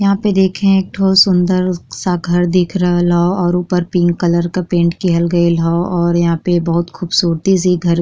यहाँ पे देखें एक ठो सुन्दर सा घर दिख रहल हौ और ऊपर पिंक कलर का पेंट किहल गइल हौ और यहाँ पे बहुत खूबसूरती से ई घर --